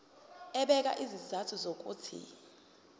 ebeka izizathu zokuthi